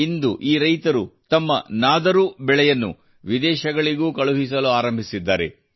ಇಂದು ಈ ರೈತರು ತಮ್ಮ ನಾದರೂ ಬೆಳೆಯನ್ನು ವಿದೇಶಗಳಿಗೂ ಕಳುಹಿಸಲಾರಂಭಿಸಿದ್ದಾರೆ